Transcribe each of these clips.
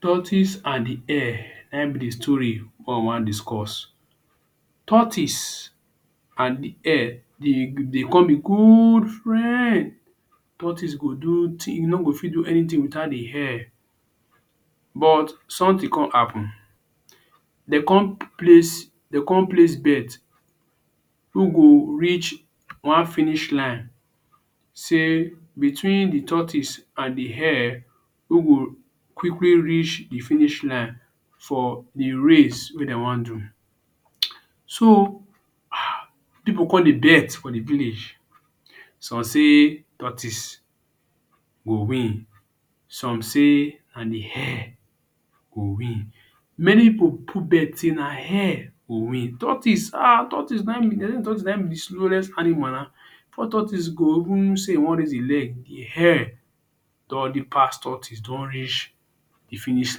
Tortoise and the hare na im be story wey we wan discuss. Tortoise and the hare dey de con be good friends. Tortoise go do thing, e no go fit do anything without the hare. But something con happen. De con place de con place bet wey go reach one finish line say between the tortoise and the hare who go quickly reach the finish line for a race wey de wan do. um So, people con dey bet for the village. Some say tortoise go win, some say na the hare go win. Many pipu put betting na hare go win. Tortoise haha tortoise na im be the na tortoise be the slowest animal. Before tortoise go even say e wan raise e leg, the hare don already pass tortoise. Don reach the finish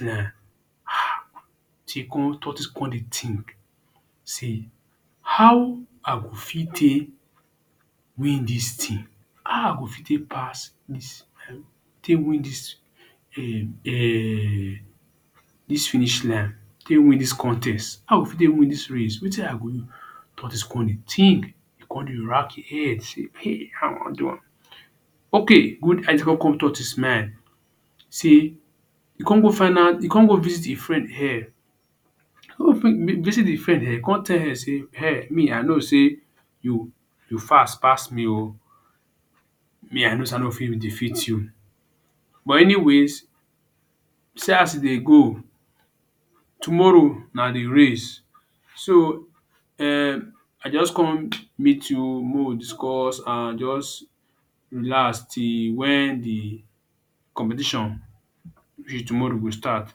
line. um con tortoise con dey think sey how i go fit take win dis thing? How i go fit take pass dis take win dis um dis finish line. Take win dis contest. How i go fit take win dis race? Wetin i go use? Tortoise con dey think, e con dey wrack e head sey how i wan do am? Okay good idea con come tortoise mind sey e con go find out, e con go visit e friend hare. visit the friend hare, e con tell hare sey, e con tell hare sey hare me i know sey you you fast pass me oh. Me i know sey i no go fit defeat you. But anyways, see as e dey go. Tomorrow na the race. So, um i just come meet you make we discuss and just relax till when the competition be tomorrow go start.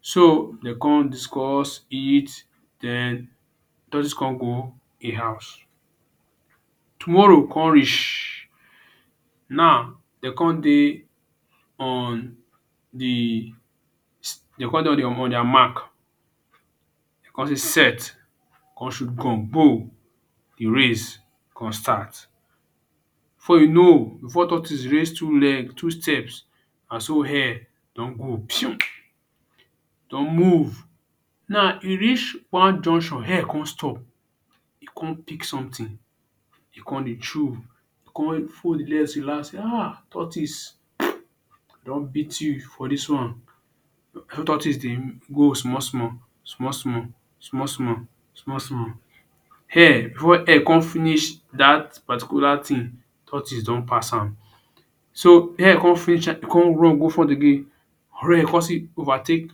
So, de con discuss, eat den tortoise con go e house. Tomorrow con reach, now de con dey on the de con dey on dia mark de con say set, de con shoot gun gbo. The race con start. Before you know before tortoise raise two leg two steps na so hare don go pium. E don move. Now e reach one junction hare con stop, e con pick something. E con dey chew. E con fold e leg relax sey ha tortoise um i don beat you for dis one Na im tortoise dey go small small small small small small small small. Hare before hare con finish dat particular thing, tortoise don pass am. So, hare con finish con run go for the game. Hare con still overtake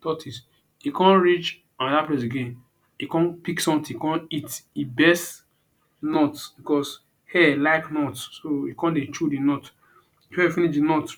tortoise. E con reach another place again, e con pick something con eat. E best nut because hare like nut so e con dey chew the nut before e finish the nut